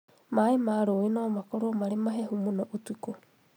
Maĩ ma rũĩ nomakorwo marĩ mahehu mũno ũtukũ